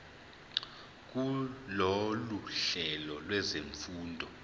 kulolu hlelo lwezifundo